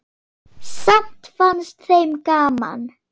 Samt fannst þeim gaman.